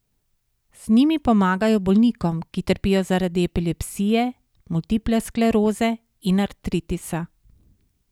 Z njimi pomagajo bolnikom, ki trpijo zaradi epilepsije, multiple skleroze in artritisa.